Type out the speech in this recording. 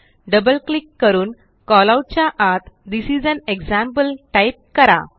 double click करून callout च्या आत this is an example type करा